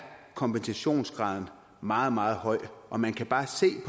kompensationsgraden meget meget høj og man kan bare se